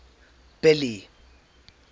billy